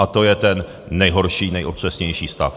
A to je ten nejhorší, nejotřesnější stav.